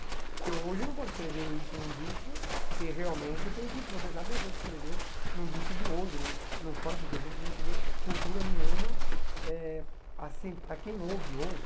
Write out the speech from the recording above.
Porque hoje não pode escrever isso num disco, que realmente tem que processar a pessoa para escrever num disco de hoje, num num funk que a gente não se vê cultura nenhuma, eh assim, para quem ouve hoje,